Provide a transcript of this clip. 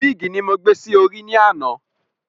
Wíìgì ni mo gbé sí orí ní àná